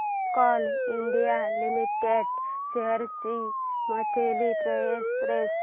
Coal India limited shares ची monthly price range